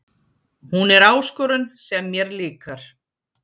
Hún er áskorun sem mér líkar